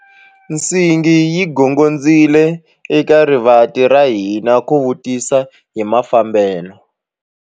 Nsingi yi gongondzile eka rivanti ra hina ku vutisa hi mafambelo.